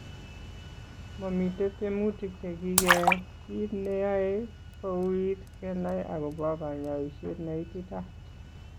Mamitei tyemutik chekikeyai, kiit neyoe kouit kenai akobo kanyoiset neititaat